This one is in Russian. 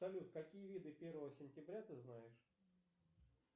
салют какие виды первого сентября ты знаешь